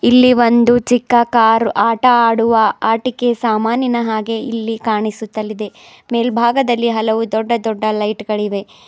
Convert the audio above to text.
ಇಲ್ಲಿ ಒಂದು ಚಿಕ್ಕ ಕಾರ್ ಆಟ ಆಡುವ ಆಟಿಕೆ ಸಾಮಾನಿನ ಹಾಗೆ ಇಲ್ಲಿ ಕಾಣಿಸುತ್ತಲಿದೆ ಮೇಲ್ಬಾಗದಲ್ಲಿ ಹಲವು ದೊಡ್ಡ ದೊಡ್ಡ ಲೈಟ್ ಗಳಿವೆ.